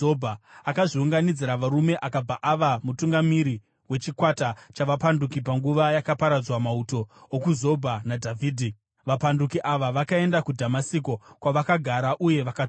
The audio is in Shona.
Akazviunganidzira varume akabva ava mutungamiri wechikwata chavapanduki panguva yakaparadzwa mauto okuZobha naDhavhidhi; vapanduki ava vakaenda kuDhamasiko, kwavakagara uye vakatonga.